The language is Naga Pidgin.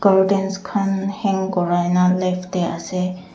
curtains khan hang korai nah left tey ase.